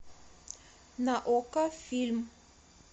на окко фильм